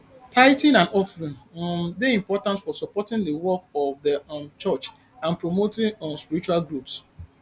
tithing and offering um dey important for supporting di work of di um church and promoting um spiritual growth